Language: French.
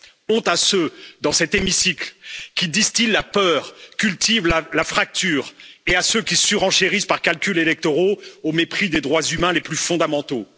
Honte à ceux, dans cet hémicycle, qui distillent la peur, cultivent la fracture, et à ceux qui surenchérissent par calculs électoraux, au mépris des droits humains les plus fondamentaux.